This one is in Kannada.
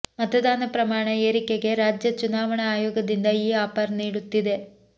ಮತದಾನ ಪ್ರಮಾಣ ಏರಿಕೆಗೆ ರಾಜ್ಯ ಚುನಾವಣಾ ಅಯೋಗದಿಂದ ಈ ಆಫರ್ ನೀಡುತ್ತಿದೆ